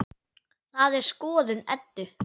Það er skoðun Eddu.